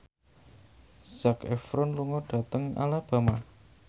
Zac Efron lunga dhateng Alabama